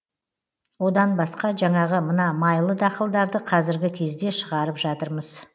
одан басқа жаңағы мына майлы дақылдарды қазіргі кезде шығарып жатырмыз